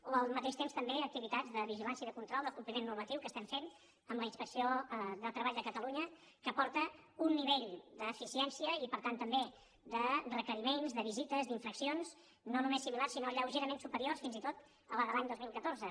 o al mateix temps també activitats de vigilància i de control del compliment normatiu que estem fent amb la inspecció de treball de catalunya que aporta un nivell d’eficiència i per tant també de requeriments de visites d’infraccions no només similars sinó lleugerament superiors fins i tot al de l’any dos mil catorze